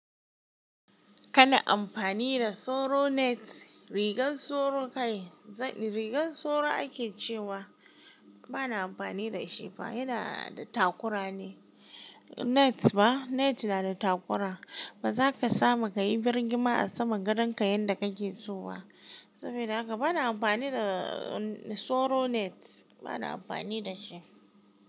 Kana amfani da soro net, rigan soro kai, rigar soro ake cewa ba na amfani da shi ba, yana da takura ne. Net ba, net yana da takura. Ba za ka samu ka yi birgima a saman gadonka yanda kake so ba. Saboda haka ba na amfani da soro net, ba na amfani da shi.